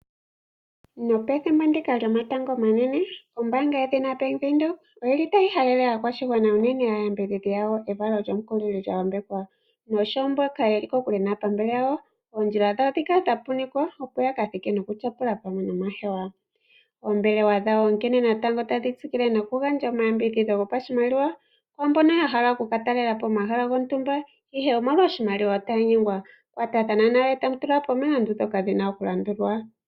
Pethimbo lyomatango omanene ombaanga yedhina bank Windhoek oyili tayi halele aakwashigwana unene aayakulwa yawo evalo lyomukulili lya yambekwa, noshowo mboka yeli kokule naaholike yawo oondjila dhawo dhi kale dha punikwa, opo yaka thike yaka tyapule pamwe noomahewa . Oombelewa dhawo otadhi tsikile noku gandja omayambidhidho gomapashimaliwa kwaamboka ya hala okuka talelapo omahala gontumba, ihe otaya nyengwa kiimaliwa otaya kunkililwa opo ya kwatathane nayo opo ya tule po omalandulathano.